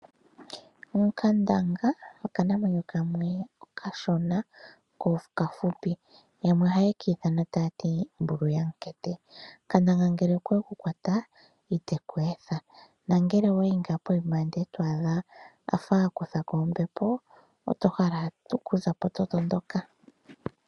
Onkandanga okanamwenyo kamwe okashona, ko okafupi. Yamwe ohaye ki ithana taati Mbulu yaMukete. Nkandanga ngele okweku kwata iteku etha, nongele owayi pokuma eto adha akutha ko ombepo oto hala okuza po to tondoka.